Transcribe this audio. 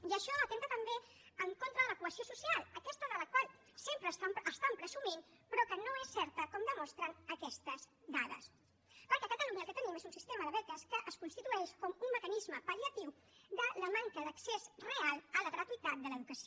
i això atempta també contra de la cohesió social aquesta de la qual sempre estan presumint però que no és certa com demostren aquestes dades perquè a catalunya el que tenim és un sistema de beques que es constitueix com un mecanisme pal·liatiu de la manca d’accés real a la gratuïtat de l’educació